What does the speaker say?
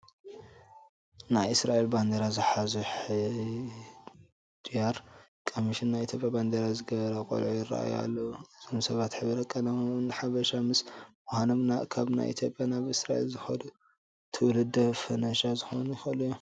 ናይ እስራኤል ባንዲራ ዝሓዙ፣ ሕድያር ቀሚሸን ናይ ኢትዮጵያ ባንዴራ ዝገበራ ቆልዑ ይርአዩ ኣለዉ፡፡ እዞም ሰባት ሕብረ ቀለሞም ሓበሻ ምስ ምዃኖም ካብ ኢትዮጵያ ናብ እስራኤል ዝኸዱ ትውልደ ፈላሻ ክኾኑ ይኽእሉ እዮም፡፡